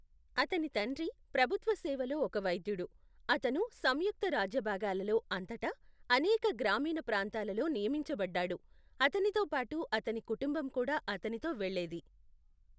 అతని తండ్రి ప్రభుత్వ సేవలో ఒక వైద్యుడు, అతను సంయుక్త రాజ్యభాగాలలో అంతటా, అనేక గ్రామీణ ప్రాంతాలలో నియమించబడ్డాడు, అతనితో పాటు అతని కుటుంబం కూడా అతనితో వెళ్ళేది.